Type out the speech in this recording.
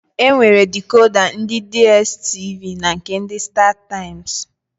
E nwere dikoda ndị Diestivi na nke ndị Stataịmsị.